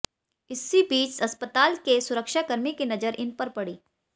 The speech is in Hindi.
इसी बीच अस्पताल के सुरक्षाकर्मी की नजर इन पर पड़ी